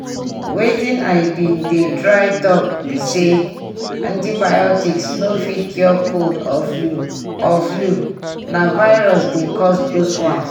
wetin i been dey try talk be say antibiotics no fit cure cold or flu or flu na virus dey cause those ones.